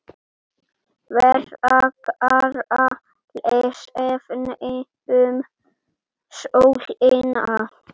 Frekara lesefni um sólina